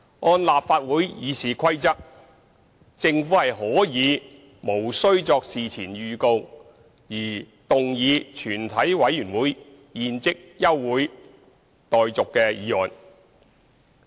按照立法會《議事規則》，政府可以無需作事前預告而動議全體委員會現即休會待續議案。